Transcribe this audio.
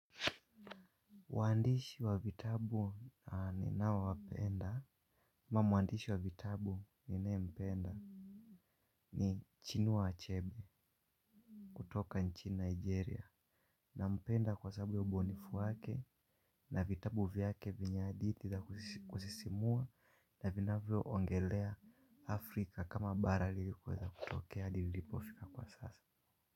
Waandishi wa vitabu ninao wapenda, au mwandishi wa vitabu ninayempenda ni Chinu wa Achebe kutoka nchi Nigeria. Nampenda kwa sababu ya ubunifu wake na vitabu vyake vina hadhi za kusisimua na vinavyoongelea Afrika kama bara lilikweza kutokea lilipofika kwa sasa.